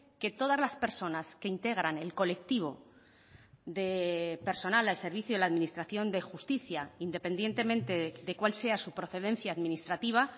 que todas las personas que integran el colectivo de personal al servicio de la administración de justicia independientemente de cuál sea su procedencia administrativa